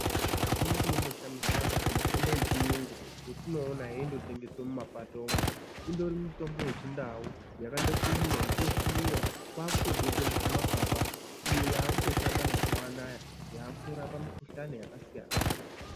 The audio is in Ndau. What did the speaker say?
Apana chinomboshamisiraba pamutombo yechiyungu yetinoona yeindotengeswa mumapato umo indori mutombo yechindau yakandokuyiwa, yochosviniwa kwakutobekwe muzvimakaba iyo yakutoshanda mazuwanaya yakutorapa mikhuhlani yakasiyana siyana.